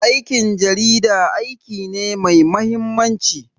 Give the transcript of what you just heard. Aikin jarida aiki ne mai mahimmanci.